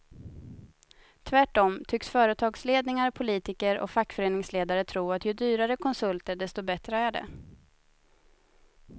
Tvärtom tycks företagsledningar, politiker och fackföreningsledare tro att ju dyrare konsulter desto bättre är det.